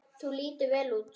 Þú lítur vel út.